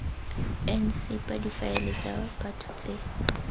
ncpa difaele tsa batho tse